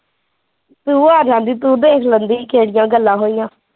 ਤੂੰ ਆ ਜਾਂਦੀ ਤੂੰ ਦੇਖ ਲੈਂਦੀ ਕਿਹੜੀਆ ਗੱਲਾਂ ਹੋਈਆ